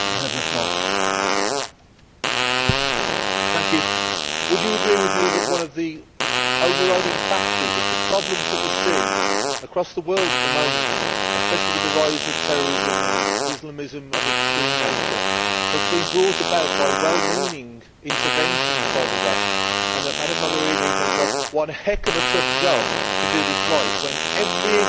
Would you agree with me that one of the overriding factors of the problems that we see across the world at the moment, especially with the rise of terrorism and Islamism of an extreme nature, has been brought about by well meaning interventions by the West, and that Madam Mogherini has got one heck of a tough job to do this right when every example that we see of Western intervention has just made things